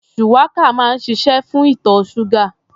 Shuwaka máa ń ṣiṣé fún ìtọ̀ ṣúgà.